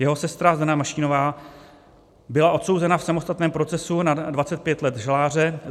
Jeho sestra Zdena Mašínová byla odsouzena v samostatném procesu na 25 let žaláře.